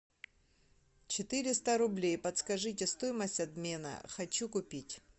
четыреста рублей подскажите стоимость обмена хочу купить